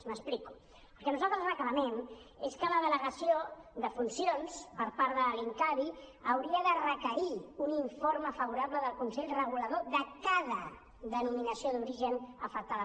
m’explico el que nosaltres reclamem és que la delegació de funcions per part de l’incavi hauria de requerir un informe favorable del consell regulador de cada denominació d’origen afectada